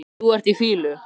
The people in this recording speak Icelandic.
Þú ert í fýlu